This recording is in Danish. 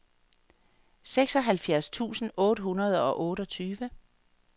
seksoghalvfjerds tusind otte hundrede og otteogtyve